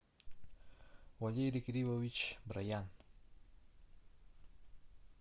валерий кириллович броян